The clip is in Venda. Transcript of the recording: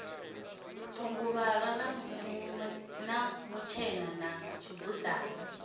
thunguvhala na mutshena na tshibudzana